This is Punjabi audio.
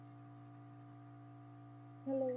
Hello